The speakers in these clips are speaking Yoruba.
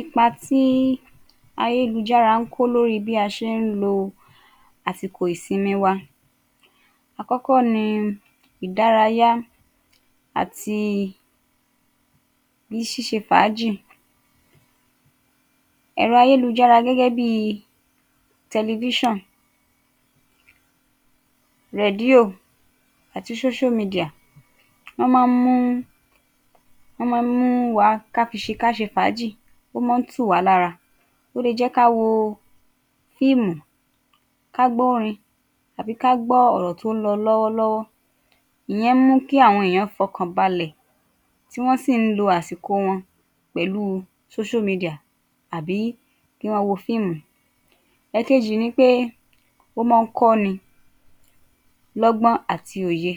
Ipa tí ayélujára ń kó lórí bí a ṣe ń lo àsìkò ìsinmi wa Àkọ́kọ́ ní ìdárayá àti ṣíṣe fàájì. Ẹ̀rọ ayélujára gẹ́gẹ́ bí, ati, wọ́n má ń mú, wọ́n má ń mú wa ká fi ṣe, ká ṣe fàáji. Ó má ń tù wá lára, ó le jé ká wo fíìmù, ká gbọ́ orin àbí ka gbọ́ ọ̀rọ̀ tó ń lọ lọ́wọ́ lọ́wọ́. Ìyẹn ń mú kí àwọn èèyàn fọkànbalẹ̀ tí wọ́n sì ń lo àsìkò wọn pẹ̀lú tàbí kí wọ́n wo fíìmù. Èkejì ni pé ó mọ́ ń kọ́ni lọ́gbọ́n àti òye.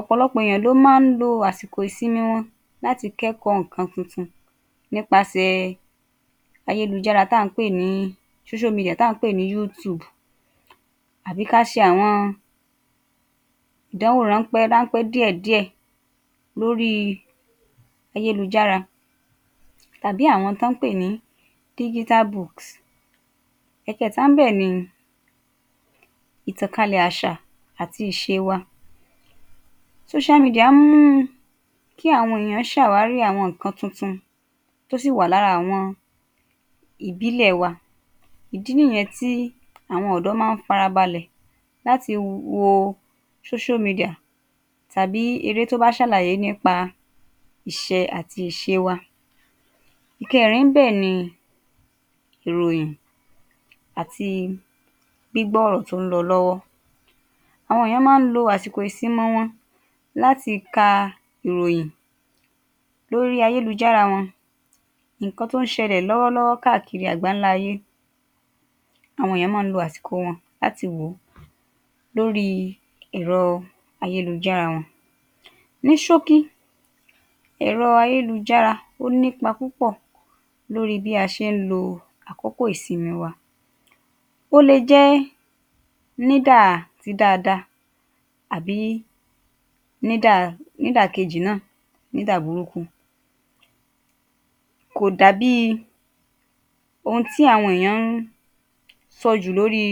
Ọ̀pọ̀lọpọ̀ èèyàn ló má ń lo àsìkò ìsinmi wọn láti kẹ́kọ̀ọ́ nǹkan tuntun nípasẹ̀ ayélujára táà ń pè ní táà ń pè ní àbí ká ṣe àwọn ìdánwò ráńpẹ́ ráńpẹ́ díẹ̀ díẹ̀ lórí ayélujára tàbí àwọn tọ́ ń pè ní. Ẹ̀kẹẹ̀ta níbẹ̀ ni ìtànkálẹ̀ àṣà àti ìṣe wa má ń mú kí àwọn èyàn sàwárí àwọn nǹkan tuntun tó sì wà lára ìbílẹ̀ wa. Ìdí nìyẹn tí àwọn ọ̀dọ́ má ń farabalẹ̀ láti wo tàbí eré tó bạ ṣàlàyé nípa ìṣẹ̀ àti ìṣe wa. Ìkẹẹ̀rin níbẹ̀ ni ìròyìn àti gbígbọ́ ọ̀rọ̀ tí ó ń lọ lọ́wọ́ Àwọn èèyàn má ń lo àsìkò ìsinmi wọn láti ka ìròyìn lórí ayélujára wọn. Nǹkan tó ń ṣẹlẹ̀ káàkiri àgbáńlá ayé, àwọn èèyàn má ń lo àsìkò wọn láti wò ó lórí ẹ̀rọ ayélujára wọn. Ní ṣókí, ẹ̀rọ ayélujára ó ní ipa púpọ̀ lórí bí a ṣe ń lo àkókò ìsinmi wa. Ó le jẹ́ nídà ti dáadáa àbí nídà ti ìkejì náà nídà burúkú. Kò dàbí ohun tí àwọn èèyàn ń sọ jù lórí